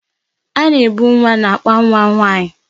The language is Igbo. A na-ebu nwa n'akpa nwa nwaanyị.